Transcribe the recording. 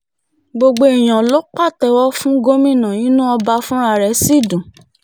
gbogbo èèyàn ló pàtẹ́wọ́ fún gómìnà inú ọba fúnra rẹ̀ sì dùn